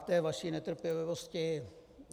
K té vaší netrpělivosti.